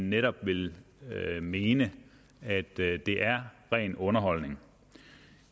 netop vil mene at det er ren underholdning